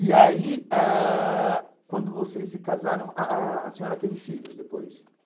E aí, ãh quando vocês se casaram, a a a senhora teve filhos depois?